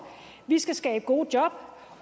vi skal skabe gode job